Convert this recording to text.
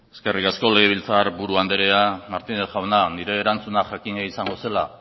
eskerrik asko legebiltzar buru anderea martínez jauna nire erantzuna jakina izango zela